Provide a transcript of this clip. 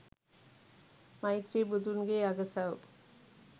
මෛත්‍රී බුදුන්ගේ අගසව්